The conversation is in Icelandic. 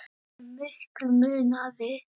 Hve miklu munaði?